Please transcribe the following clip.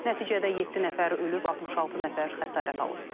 Nəticədə yeddi nəfər ölüb, 66 nəfər xəsarət alıb.